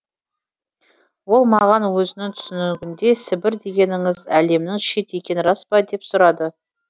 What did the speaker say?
ол маған өзінің түсінігінде сібір дегеніңіз әлемнің шеті екені рас па деп сұрады